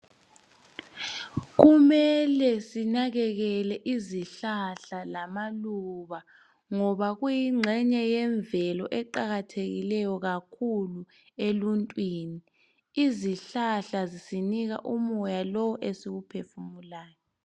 Kumele sinakekele izihlahla lamaluba ngoba kuyingxenye yemvelo eqakathekileyo kukhulu eluntwini. Izihlahla zisinika umoya lowu esiwuphefumulayo.